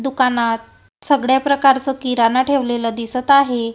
दुकानात सगळ्या प्रकारचं किराणा ठेवलेलं दिसतं आहे.